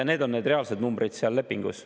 See on see reaalne number selles lepingus.